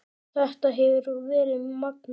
Þetta hefur verið magnað.